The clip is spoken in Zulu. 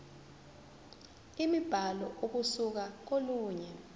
imibhalo ukusuka kolunye